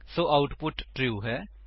ਸੋ output true ਹੈ